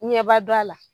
Ɲɛba don a la